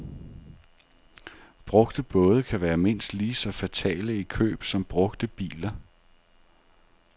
Brugte både kan være mindst lige så fatale i køb som brugte biler.